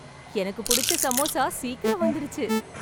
எனக்கு புடிச்ச சமோசா சீக்கிரமா வந்துடுச்சு